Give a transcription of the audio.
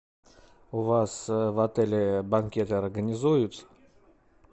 у вас в отеле банкеты организуют